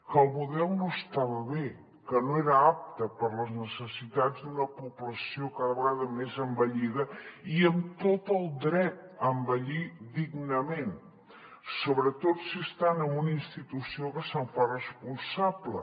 que el model no estava bé que no era apte per a les necessitats d’una població cada vegada més envellida i amb tot el dret a envellir dignament sobretot si estan en una institució que se’n fa responsable